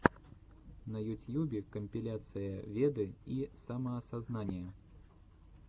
на ютьюбе компиляция веды и самоосознание